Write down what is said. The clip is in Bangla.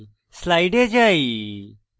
slide যাই